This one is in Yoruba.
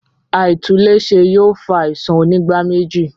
Aitunle ṣe yóò fa àisàn onígbáméjì